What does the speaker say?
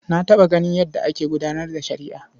Na taɓa ganin yadda ake gudanar da shari'a.